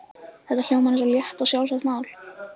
Þetta hljómar eins og létt og sjálfsagt mál.